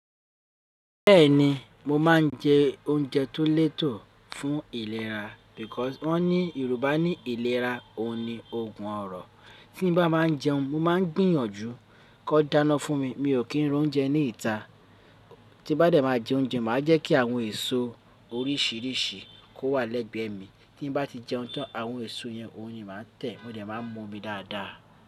Bẹ́ẹ̀ni, mo máa ń jẹ oúnjẹ tó lẹ́tọ̀ fún ìlera because wọ́n ní Yorùbá ní ìlera òní, òògùn ọrọ̀. Tí nì bá máa ń jẹun, mo máa ń gbìyànjú kó dáná fún mi. Mi ò kí ń ra oúnjẹ ní ìta. Tí bá dẹ̀ máa jẹ oúnjẹ, màá jẹ́ kí àwọn èso oríṣìíríṣìí kó wà lẹ́gbẹ̀ẹ́ mi. Tí n bá ti jẹun tán, àwọn èso yẹn, oyin máa tẹ̀, mó dẹ̀ máa ń mọ́ mi dáadáa.